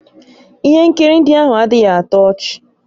Ihe nkiri ndị ahụ adịghị atọ ọchị